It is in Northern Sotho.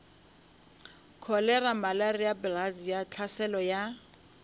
kholera malaria bilharzia tlhaselo ya